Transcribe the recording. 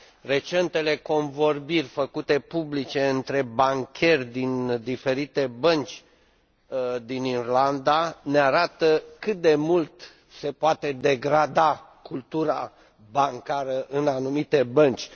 Recentele convorbiri făcute publice între bancheri din diferite bănci din Irlanda ne arată cât de mult se poate degrada cultura bancară în anumite bănci.